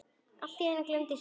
Allt í einu glumdi síminn.